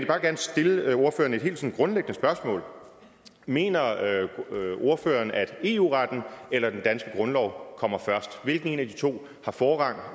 bare gerne stille ordføreren et helt grundlæggende spørgsmål mener ordføreren at eu retten eller den danske grundlov kommer først hvilken en af de to har forrang